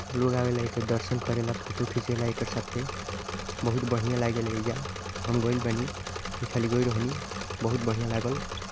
लोग आवेला एके दर्शन करे ला फोटो खीचेला एकर साथे। बहुत बढ़ियां लागेल एइजा। हम गइल बानी। एखाली गइल रहनी। बहुत्व बढ़िया लागल।